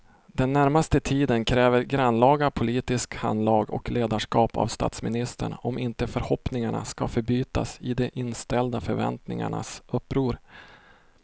Den närmaste tiden kräver grannlaga politiskt handlag och ledarskap av statsministern om inte förhoppningarna ska förbytas i de inställda förväntningarnas uppror.